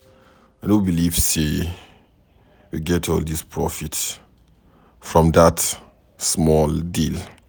I no believe say we get all dis profit from dat small deal